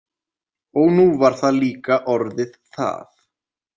Og nú var það líka orðið það.